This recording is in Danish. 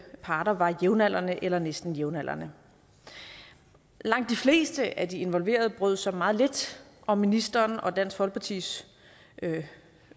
parter var jævnaldrende eller næsten jævnaldrende langt de fleste af de involverede brød sig meget lidt om ministerens og dansk folkepartis